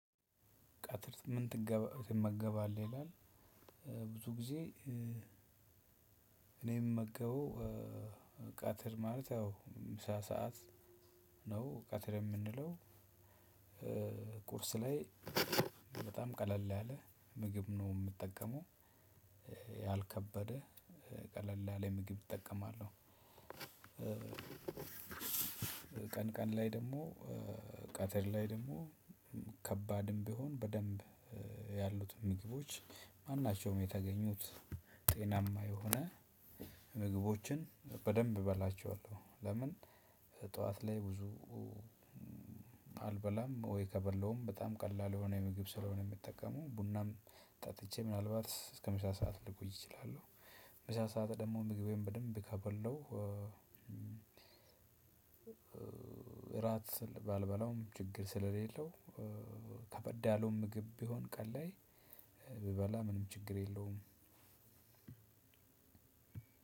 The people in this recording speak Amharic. ቀትር ምን ትመገባለህ ይላል? ብዙ ጊዜ እኔ እምመገበው ቃተር ማለት ያው ምሳ ሰዓት ነው ቀትር የምንለው ቁርስ ላይ በጣም ቀለል ያለ ምግብ ነው የምጠቀመው። ያልከበደ ቀለል ያለ ምግብ እጠቀማለሁ። ቀን ቀን ላይ ደግሞ ቀትር ላይ ደግሞ ከባድም ቢሆን በደንብ ያሉትን ምግቦች ማናቸውም የተገኙት ጤናማ የሆነ ምግቦችን በደንብ እበላቸዋለሁ። ለምን ጠዋት ላይ ብዙ አልበላም ወይ ከበላሁም በጣም ቀላል የሆነ ምግብ ስለሆነ የምጠቀመው ቡናም ጠጥቼ ምናልባት እስከ ምሳ ሰዓት ልቆይ እችላለሁ። ምሳ ሰዓት ደግሞ ምግቤን በደንብ ካበላሁ። እራት ባልበላውም ችግር ስለሌለው። ከበድ ያለውም ምግብ ቢሆን ቀን ላይ ብበላ ምንም ችግር የለውም።